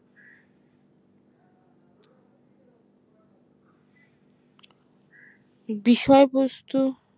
বিষয়বস্তু